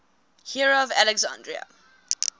hero of alexandria